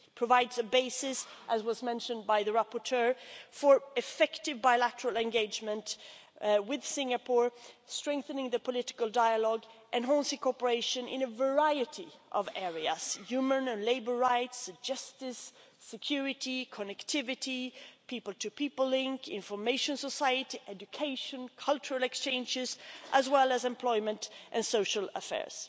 It provides a basis, as the rapporteur mentioned, for effective bilateral engagement with Singapore, strengthening the political dialogue and enhancing cooperation in a variety of areas human and labour rights, justice, security, connectivity, people to people links, the information society, education and cultural exchanges, as well as employment and social affairs.